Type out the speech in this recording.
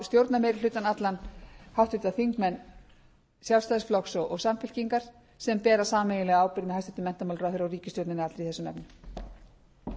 stjórnarmeirihlutann allan háttvirtir þingmenn sjálfstæðisflokks og samfylkingar sem bera sameiginlega ábyrgð með hæstvirtum menntamálaráðherra og ríkisstjórninni allri í þessum efnum